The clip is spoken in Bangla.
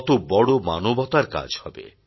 কত বড় মানবতার কাজ হবে